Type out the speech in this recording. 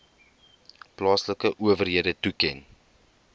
plaaslike owerhede toeken